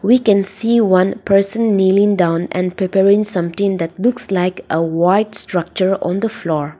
we can see one person kneeling down and preparing something that looks like a white structure on the floor.